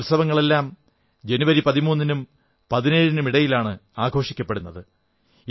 ഈ ഉത്സവങ്ങളെല്ലാം ജനുവരി 13 നും ജനുവരി 17 നും ഇടയിലാണ് ആഘോഷിക്കപ്പെടുന്നത്